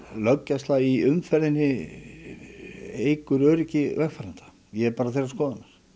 löggæsla í umferðinni auki öryggi vegfarenda ég er bara þeirrar skoðunar